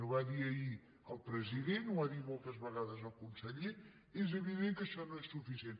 ho va dir ahir el president ho ha dit moltes vegades el conseller és evident que això no és suficient